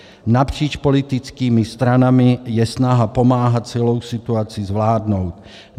Napříč politickými stranami je snaha pomáhat celou situaci zvládnout.